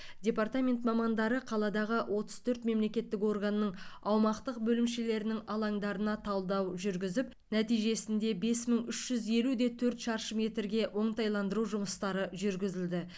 департамент мамандары қаладағы отыз төрт мемлекеттік органның аумақтық бөлімшелерінің алаңдарына талдау жүргізіп нәтижесінде бес мың үщ жүз елу де төрт шаршы метрге оңтайландыру жұмыстары жүргізілді